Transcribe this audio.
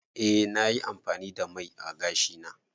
Eh na yi amfani da mai ã gashi na.